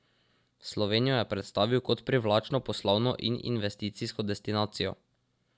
Slovenijo je predstavil kot privlačno poslovno in investicijsko destinacijo.